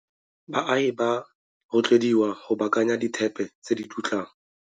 Baagi ba rotloediwa go baakanya dithepe tse di dutlang.